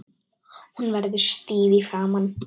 Hún verður stíf í framan.